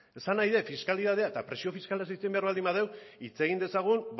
esan nahi dut fiskalitatea eta presio fiskalez hitz egin behar baldin badugu hitz egin dezagun